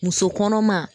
Muso kɔnɔma